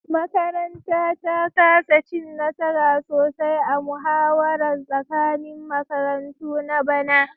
Makaranta ta kasa cin nasara sosai a muhawarar tsakanin makarantu na bana